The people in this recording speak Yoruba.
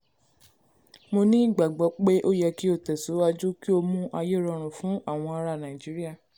mo ní ìgbàgbọ́ pé ó yẹ kí ó tẹ̀síwájú kí ó mú ayé rọrùn fún àwọn ará nàìjíríà.